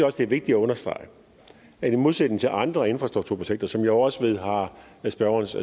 også det er vigtigt at understrege at i modsætning til andre infrastrukturprojekter som jeg også ved har spørgerens